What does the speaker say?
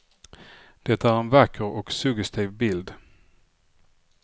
Det är en vacker och suggestiv bild.